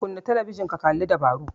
Kunna talabijin ka kalli labaru